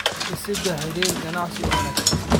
Dhisidda Xiriir Ganacsi oo Wanaagsan.